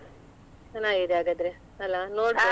ಚೆನ್ನಾಗಿದೆ ಹಾಗಾದ್ರೆ ಅಲ್ಲಾ ನೋಡ್ಬೋದು?